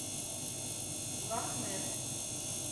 лохнесс